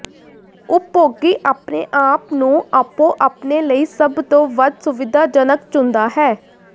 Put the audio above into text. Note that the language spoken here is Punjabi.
ਉਪਭੋਗੀ ਆਪਣੇ ਆਪ ਨੂੰ ਆਪੋ ਆਪਣੇ ਲਈ ਸਭ ਤੋਂ ਵੱਧ ਸੁਵਿਧਾਜਨਕ ਚੁਣਦਾ ਹੈ